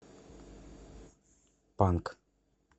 панк